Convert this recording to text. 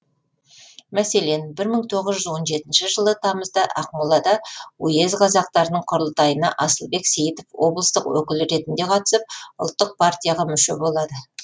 мәселен бір мың тоғыз жүз он жетінші жылы тамызда ақмолада уезд қазақтарының құрылтайына асылбек сейітов облыстық өкіл ретінде қатысып ұлттық партияға мүше болады